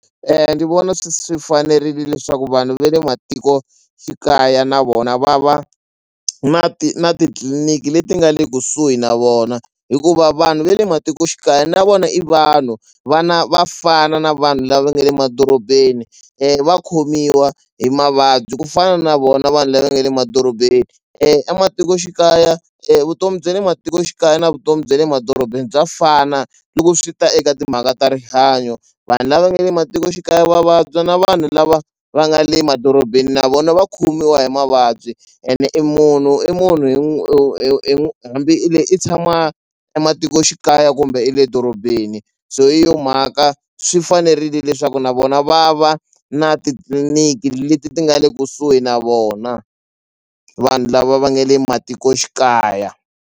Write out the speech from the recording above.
Ndzi vona swi swi fanerile leswaku vanhu ve le matikoxikaya na vona va va na na titliliniki leti nga le kusuhi na vona hikuva vanhu ve le matikoxikaya na vona i vanhu va na va fana na vanhu lava nga le madorobeni va khomiwa hi mavabyi ku fana na vona vanhu lava nga le madorobeni ematikoxikaya vutomi bya le matikoxikaya na vutomi bya le madorobeni bya fana loko swi ta eka timhaka ta rihanyo vanhu lava nga le matikoxikaya va vabya na vanhu lava va nga le madorobeni na vona va khomiwa hi mavabyi ene i munhu i munhu hi hambi i le i tshama ematikoxikaya kumbe i le dorobeni so hi yona mhaka swi fanerile leswaku na vona va va na titliliniki leti ti nga le kusuhi na vona vanhu lava va nga le matikoxikaya.